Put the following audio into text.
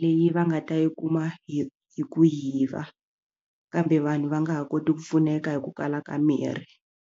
leyi va nga ta yi kuma hi hi ku yiva kambe vanhu va nga ha koti ku pfuneka hi ku kala ka mirhi.